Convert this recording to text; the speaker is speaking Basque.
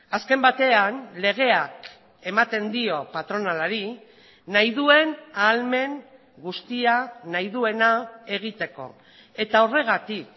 azken batean legeak ematen dio patronalari nahi duen ahalmen guztia nahi duena egiteko eta horregatik